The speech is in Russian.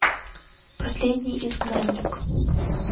последний изгнанник